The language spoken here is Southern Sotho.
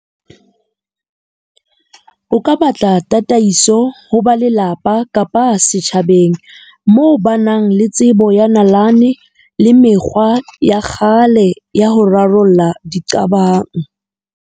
O ka batla tataiso ho ba lelapa kapa setjhabeng. Moo ba nang le tsebo ya nalane le mekgwa ya kgale ya ho rarolla di qabang.